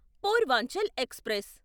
Purvanchal express